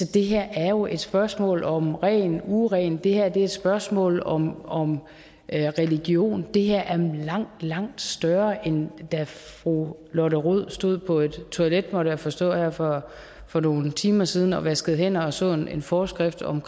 det her er jo et spørgsmål om ren og uren det her er et spørgsmål om om religion det her er langt langt større end da fru lotte rod stod på et toilet må jeg forstå her for for nogle timer siden og vaskede hænder og så en forskrift om